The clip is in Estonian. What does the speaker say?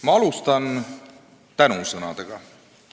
Ma alustan tänusõnadega.